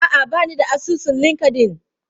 A'a, ba ni da asusun Linkedln.